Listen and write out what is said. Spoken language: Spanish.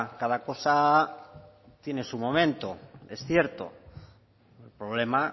cada cosa tiene su momento es cierto el problema